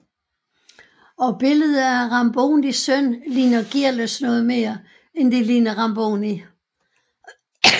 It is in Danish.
Og billedet af Rambonis søn ligner Gearløs noget mere end det ligner Ramboni